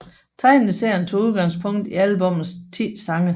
Tegneserien tog udgangspunkt i albummets 10 sange